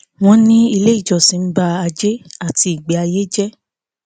wọn ní ilé ìjọsìn ń bà ajé àti ìgbé ayé jẹ